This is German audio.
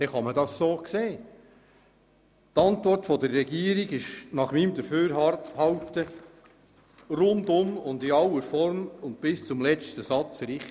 Die Regierungsantwort ist nach meiner Sicht rundum, in aller Form und bis zum letzten Satz richtig.